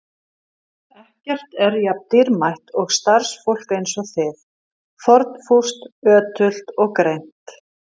Ekkert er jafn dýrmætt og starfsfólk eins og þið: fórnfúst, ötult og greint.